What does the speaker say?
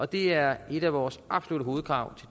det er et af vores absolutte hovedkrav